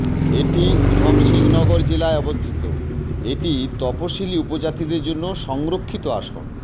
এটি উধমসিং নগর জেলায় অবস্থিত এটি তফসিলী উপজাতিদের জন্য সংরক্ষিত আসন